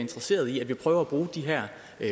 i